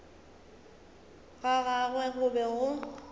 ga gagwe go be go